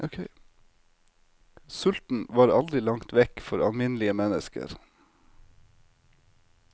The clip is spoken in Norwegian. Sulten var aldri langt vekk for alminnelige mennesker.